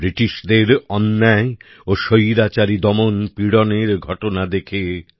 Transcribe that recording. ব্রিটিশদের অন্যায় ও স্বৈরাচারী দমনপীড়নের ঘটনা দেখে